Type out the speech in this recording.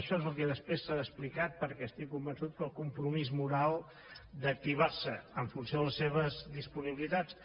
això és el que després s’ha explicat perquè estic convençut que el compromís moral d’activar se en funció de les seves disponibilitats